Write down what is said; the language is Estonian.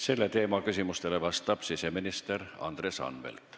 Selle teema küsimustele vastab siseminister Andres Anvelt.